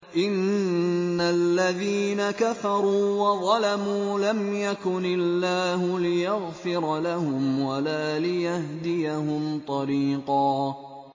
إِنَّ الَّذِينَ كَفَرُوا وَظَلَمُوا لَمْ يَكُنِ اللَّهُ لِيَغْفِرَ لَهُمْ وَلَا لِيَهْدِيَهُمْ طَرِيقًا